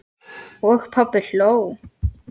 Og pabbi hló.